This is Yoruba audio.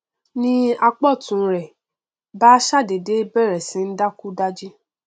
ni apá ọtún rẹ bá ṣàdédé bẹrẹ sí í ń dákúdájí